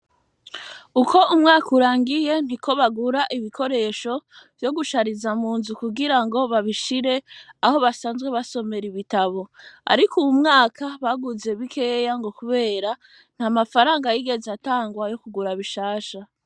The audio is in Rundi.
Uko umwaka urangiye, niko bagura ibikoresho vyo gushariza mu nzu kugira ngo babishire aho basanzwe basomera ibitabo. Ariko uyu mwaka baguze bikeya ngo kubera ntamafaranga yigeze atangwa yo kugura bishasha.